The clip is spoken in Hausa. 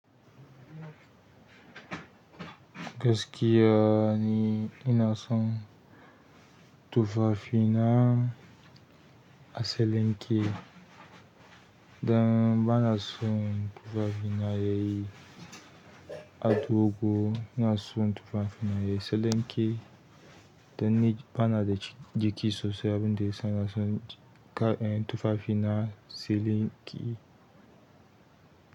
Gaskiya ni ina son tufafina a selinki, dan bana son tufafina yayi ado ko ina son tufafina yayi selinki, dan ni bana da ci jiki sosai abin da yasa ina son ka en tufafina selinki.